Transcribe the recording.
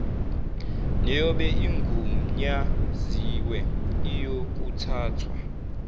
neyobe igunyaziwe iyakuthathwa